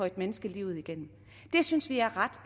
et menneske livet igennem det synes vi er ret